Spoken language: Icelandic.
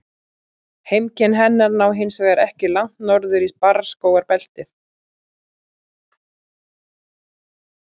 Heimkynni hennar ná hins vegar ekki langt norður í barrskógabeltið.